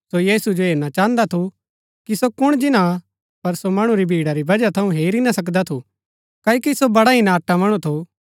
सो यीशु जो हेरणा चाहन्दा थू कि सो कुण जिन्‍ना हा पर सो मणु री भिड़ा री वजह थऊँ हेरी ना सकदा थू क्ओकि सो बड़ा ही नाटा मणु थू